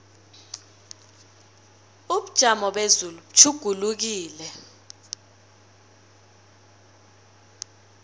ubujamo bezulu butjhugulukile